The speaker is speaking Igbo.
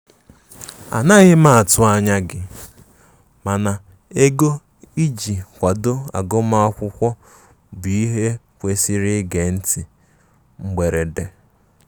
anaghi m atụ anya gi, mana ego ịjì kwado agum akwụkwo bụ ihe e kwesịrị ige nti mgberede.